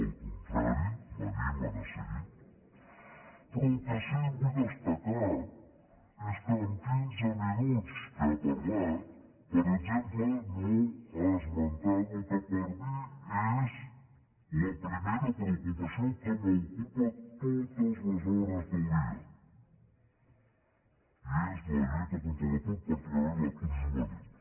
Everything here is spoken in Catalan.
al contrari m’animen a seguir però el que sí vull destacar és que en quinze minuts que ha parlat per exemple no ha esmentat el que per mi és la primera preocupació que m’ocupa totes les hores del dia i és la lluita contra l’atur particularment l’atur juvenil